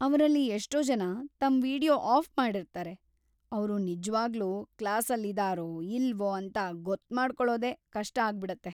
ಅವ್ರಲ್ಲಿ ಎಷ್ಟೋ ಜನ ತಮ್‌ ವೀಡಿಯೊ ಆಫ್‌ ಮಾಡಿರ್ತಾರೆ, ಅವ್ರು ನಿಜ್ವಾಗ್ಲೂ ಕ್ಲಾಸಲ್ಲಿದಾರೋ ಇಲ್ವೋ ಅಂತ ಗೊತ್ಮಾಡ್ಕೊಳೋದೇ ಕಷ್ಟ ಆಗ್ಬಿಡತ್ತೆ.